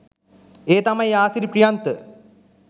ඒ තමයි ආසිරි ප්‍රියන්ත